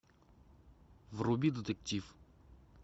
вруби детектив